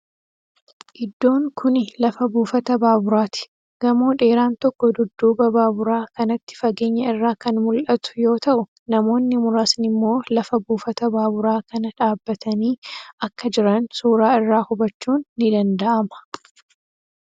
Iddoon kuni lafa buufata baaburaati. Gamoo dheeran tokko dudduuba baaburaa kanatti fageenya irraa kan mul'atu yoo ta'u namoonni muraasni immoo lafa buufata baaburaa kana dhaabbatanii akka jiran suuraa irraa hubachuun ni danda'ama.